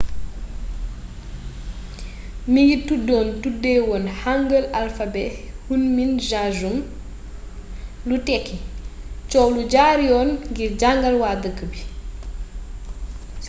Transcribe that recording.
mingi tuddoon tuddeewoon hangeul alphabet hunmin jeogeum lu tekki coow lu jaar yoon ngir jàngal waa dëkk bi